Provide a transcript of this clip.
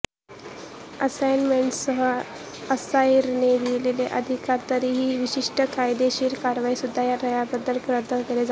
असाइनमेंटसह असाइनरने दिलेले अधिकार तरीही विशिष्ट कायदेशीर कारवाईद्वारे रद्दबातल केले जाऊ शकतात